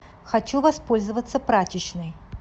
хочу воспользоваться прачечной